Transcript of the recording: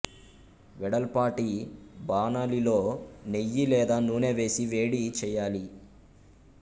వెడల్పాటి బాణలిలో నెయ్యి లేదా నూనె వేసి వేడి చేయాలి